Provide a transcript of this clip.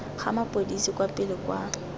ga mapodisi kwa pele kwa